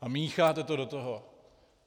A mícháte to do toho.